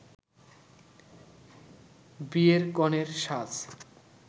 বিয়ের কনের সাজ